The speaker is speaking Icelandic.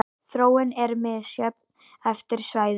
Þróunin er misjöfn eftir svæðum.